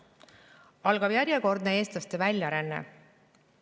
Algab järjekordne eestlaste väljaränne.